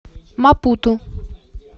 мапуту